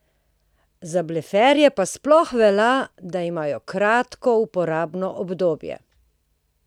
Za bleferje pa nasploh velja, da imajo kratko uporabno obdobje!